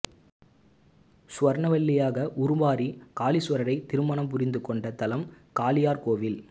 சுவர்ணவல்லியாக உருமாறி காளீசுவரரை திருமணம் புரிந்து கொண்ட தலம் காளையார்கோவில்